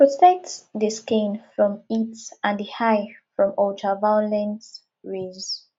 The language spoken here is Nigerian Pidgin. protect di skin from heat and di eye from ultra violent rays